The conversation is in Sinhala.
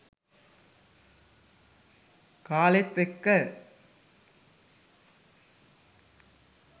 කාලෙත් එක්ක.